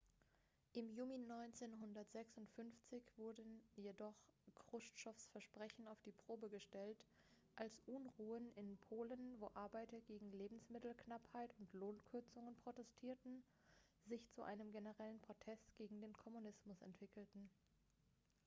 im juni 1956 jedoch wurden chruschtschows versprechen auf die probe gestellt als unruhen in polen wo arbeiter gegen lebensmittelknappheit und lohnkürzungen protestierten sich zu einem generellen protest gegen den kommunismus entwickelten